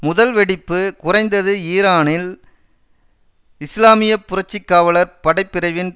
முதல் வெடிப்பு குறைந்தது ஈரானின் இஸ்லாமிய புரட்சி காவலர் படை பிரிவின்